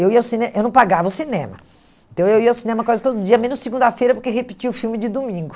Eu ia ao cine eu não pagava o cinema, então eu ia ao cinema quase todo dia, menos segunda-feira, porque repetia o filme de domingo.